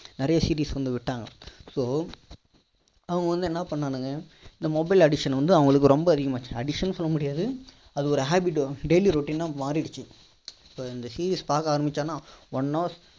நிறைய series வந்து விட்டாங்க so ஆஹ் அவங்க வந்து என்ன பண்ணாங்க இந்த mobile addiction வந்து அவங்களுக்கு ரொம்ப அதிகமா ஆகிடுச்சு addiction ன்னு சொல்ல முடியாது அது ஒரு habit daily routine னா மாறிடுச்சு இப்போ so இந்த series பார்க்க ஆரம்மிச்சாங்கன்னா one hour